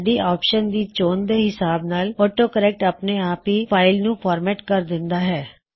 ਸਾਡੀ ਆਪਸ਼ਨ ਦੀ ਚੋਣ ਦੇ ਹਿਸਾਬ ਨਾਲ ਆਟੋ ਕਰੇਕ੍ਟ ਅਪਣੇ ਆਪ ਹੀ ਫਾਇਲਜ਼ ਨੂੰ ਫ਼ੌਰਮੈਟ ਕਰ ਦਿੰਦਾ ਹੈ